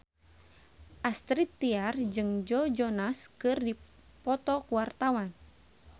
Astrid Tiar jeung Joe Jonas keur dipoto ku wartawan